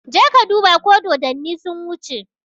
Je ka duba ko dodanni sun wuce!